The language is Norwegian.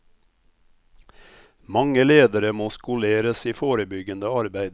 Mange ledere må skoleres i forebyggende arbeid.